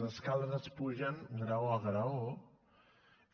les escales es pugen graó a graó